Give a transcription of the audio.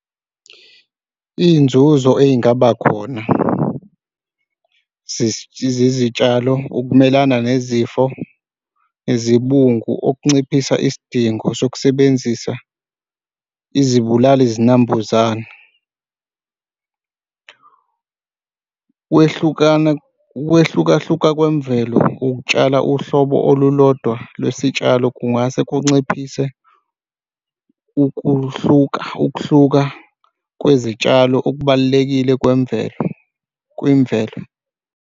Iy'nzuzo ey'ngaba khona zezitshalo ukumelana nezifo, izibungu okunciphisa isidingo sokusebenzisa izibulali zinambuzane. Kwehlukana, ukwehlukahluka kwemvelo ukutshala uhlobo olulodwa lwesitshalo kungase kunciphise ukuhluka, ukuhluka kwezitshalo okubalulekile kwemvelo, kwimvelo.